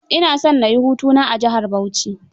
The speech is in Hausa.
Ina son na yi hutu na a jihar Bauchi.